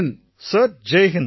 sir ஜெய் Hind sir